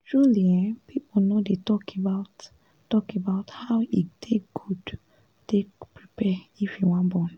ehn people no dey to talk about talk about how e take good take prepare if you wan born